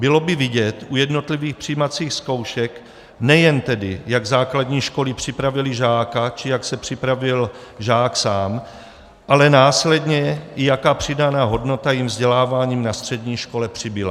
Bylo by vidět u jednotlivých přijímacích zkoušek nejen tedy, jak základní školy připravily žáka či jak se připravil žák sám, ale následně i jaká přidaná hodnota jim vzděláváním na střední škole přibyla.